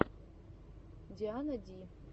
диана ди